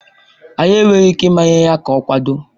Anyị enweghị ike ịmanye ya ka ọ kwado.